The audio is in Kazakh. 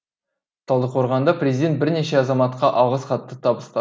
талдықорғанда президент бірнеше азаматқа алғыс хат табыста